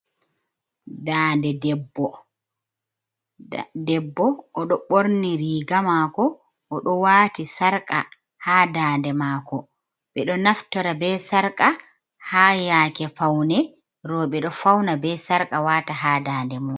Dande debbo. Debbo, o ɗo ɓorni riiga mako, o ɗo waati sarƙa ha dande mako. Ɓe ɗo naftora be sarƙa ha yake faune. Rowɓe, ɗo fauna be sarƙa waata ha dande mum.